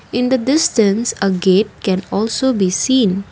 in the distance ap gate can also be seen.